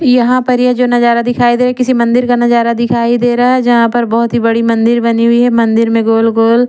यहां पर ये जो नजारा दिखाई दे किसी मंदिर का नजारा दिखाई दे रहा है यहां पर बहुत ही बड़ी मंदिर बनी हुई है मंदिर में गोल गोल--